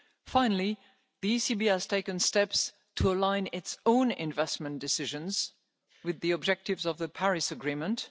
risks. Finally, the ECB has taken steps to align its own investment decisions with the objectives of the Paris Agreement.